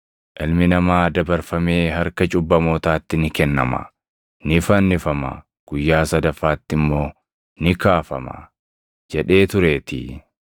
‘Ilmi Namaa dabarfamee harka cubbamootaatti ni kennama; ni fannifama; guyyaa sadaffaatti immoo ni kaafama’ jedhee tureetii.”